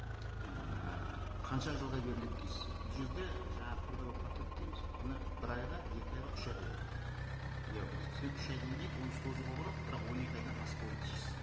ііі қанша жылға беріледі дейсіз бұл жерде жаңа трудовой патент дейміз оны бір айға екі айға үш айға беріледі я болмаса сен үш айдан кейін оны созуға болады бірақ он екі айдан аспауы тиіс